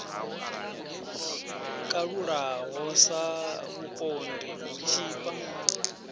kalulaho sa vhupondi u tshipa